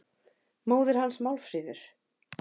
Móðir hans, Málfríður